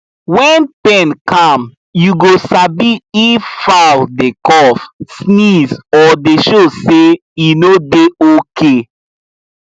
wen pen calm u go sabi if fowl dey cough sneeze or dey show say e no dey okay